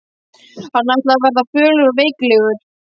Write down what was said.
Hann ætlaði að verða fölur og veiklulegur.